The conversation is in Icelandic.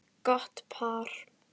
Gott par.